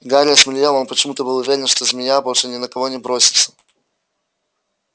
гарри осмелел он почему-то был уверен что змея больше ни на кого не бросится